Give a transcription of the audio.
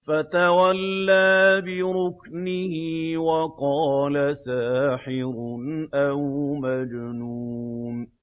فَتَوَلَّىٰ بِرُكْنِهِ وَقَالَ سَاحِرٌ أَوْ مَجْنُونٌ